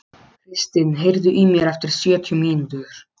Kristin, heyrðu í mér eftir sjötíu mínútur.